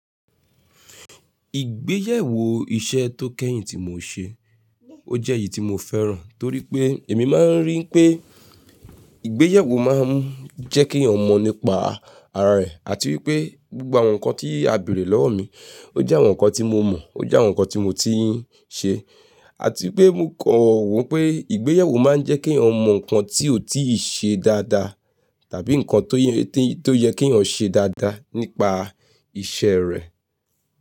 Ìgbéyàwó iṣẹ́ tó kẹ́yìn tí mo ṣe, ó jẹ́ èyí tí mo fẹ́ràn torí pé èmi máa ń rí pé ìgbéyàwó máa ń jẹ́ kí èèyàn mọ̀ nípa ara rẹ̀ àti wípé gbogbo àwọn nǹkan tí a béèrè lọ́wọ́ mi, ó jẹ́ àwọn nǹkan tí mo mọ̀, ó jẹ́ àwọn nǹkan tí mo ti ń ṣe àti pé mo kọ̀ wọ́n pé ìgbéyàwó máa ń jẹ́ kí èèyàn mọ̀ nǹkan tí ó tíì ṣe dáadáa tàbí nǹkan tó yẹ kí èèyàn ṣe dáadáa nípa iṣẹ́ rẹ̀.